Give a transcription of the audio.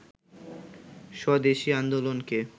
স্বদেশি আন্দোলনকে